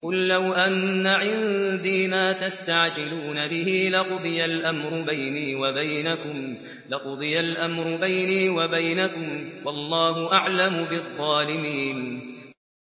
قُل لَّوْ أَنَّ عِندِي مَا تَسْتَعْجِلُونَ بِهِ لَقُضِيَ الْأَمْرُ بَيْنِي وَبَيْنَكُمْ ۗ وَاللَّهُ أَعْلَمُ بِالظَّالِمِينَ